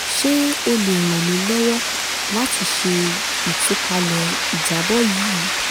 ṣe o le ran mi lọwọ lati ṣe itupalẹ ijabọ yii